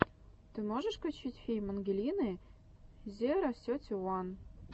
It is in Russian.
ты можешь включить фильм ангелины зеро сети уан